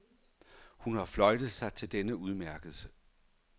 Hun har fløjtet sig til denne udmærkelse.